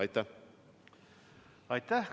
Aitäh!